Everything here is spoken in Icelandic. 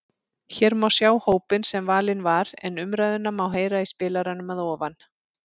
Hér má sjá hópinn sem valinn var en umræðuna má heyra í spilaranum að ofan.